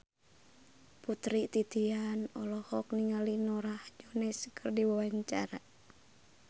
Putri Titian olohok ningali Norah Jones keur diwawancara